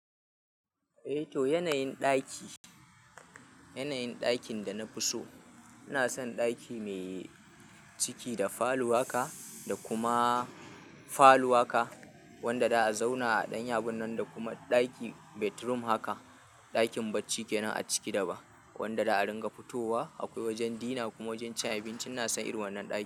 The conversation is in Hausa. Eh to, yanayin ɗaki, yanayin ɗakin da na fi so, ina son ɗaki mai ciki da falow haka, da kuma falow haka wanda za a zauna a ɗanyi abunnan da kuma ɗaki bedroom haka, ɗakin bacci kenan a ciki da ba, wanda da a ringa fitowa. Akwai wajen dina kuma wajen cin abinci ina son irin wannan ɗakin.